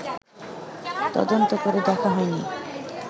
তদন্ত করে দেখা হয়নি